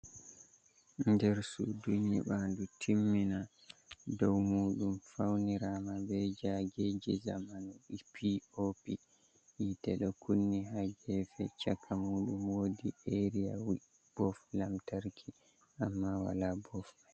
Nder suudu nƴibaɲdu timmina. Dow muuɗum faunirama be jaageji jamanu POP, hiite ɗo kunni haa geefe. Chaka muuɗum woodi aria bof lamtarki, amma wala bof mai.